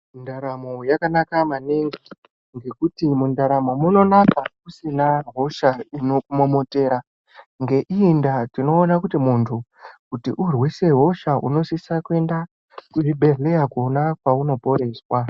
Ndaramo yakanaka maningi ngekuti mundaramo munonaka usina hosha inokumomotera ngeiyi ndaa tinoona kuti muntu kuti urwise hosha unosisa kuenda kuzvibhedhleya kona kwaunoporeswa.